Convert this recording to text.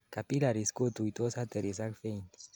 capillaries kotuitos arteries ak veins